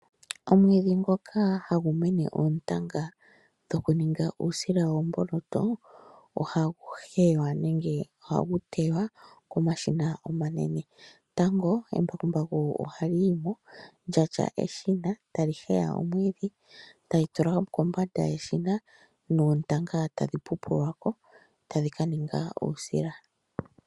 Omwiidhi ngoka hagu mene oontanga dhokuninga uusila woomboloto ohagu heywa nenge ohagu teywa komashina omanene. Tango embakumbaku ohali yi mo lya tya eshina e tali heya omwiidhi tali tula kombanda yeshina noontanga tadhi upulwa ko tadhi ka ninga uusila.